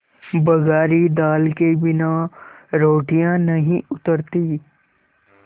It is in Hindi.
बघारी दाल के बिना रोटियाँ नहीं उतरतीं